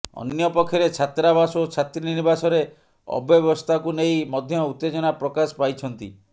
ଅନ୍ୟପକ୍ଷରେ ଛାତ୍ରାବାସ ଓ ଛାତ୍ରୀନିବାସରେ ଅବ୍ୟବସ୍ଥାକୁ ନେଇ ମଧ୍ୟ ଉତ୍ତେଜନା ପ୍ରକାଶ ପାଇଛନ୍ତି